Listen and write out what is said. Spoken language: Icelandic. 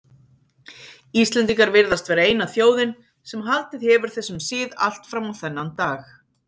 Íslendingar virðast vera eina þjóðin sem haldið hefur þessum sið allt fram á þennan dag.